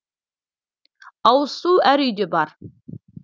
ауыз су әр үйде бар